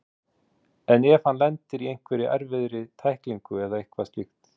Lillý: En ef hann lendir í einhverri erfiðri tæklingu eða eitthvað slíkt?